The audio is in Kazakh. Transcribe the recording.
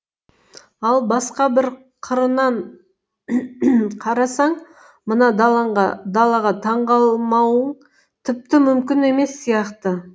ал басқа бір қырынан қарасаң мына далаға таңғалмауың тіпті мүмкін емес сияқты